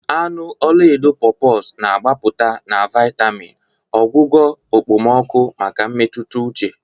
Anụ ọla edo Pawpaws na-agbapụta na vitamin, ọgwụgwọ okpomọkụ maka mmetụta uche.